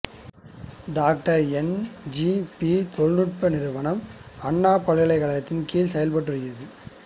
doctor N G P தொழில்நுட்ப நிறுவனம் அண்ணா பல்கலைகழகத்தின் கீழ் செயல்பட்டு வருகிறது